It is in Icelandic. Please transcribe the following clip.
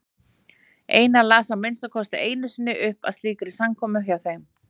Einar las að minnsta kosti einu sinni upp á slíkri samkomu hjá þeim.